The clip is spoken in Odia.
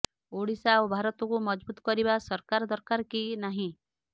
ଓଡ଼ିଶା ଓ ଭାରତକୁ ମଜଭୁତ କରିବା ସରକାର ଦରକାର କି ନାହିଁ